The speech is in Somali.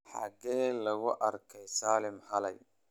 Xagee lagu arkay Saalim xalay?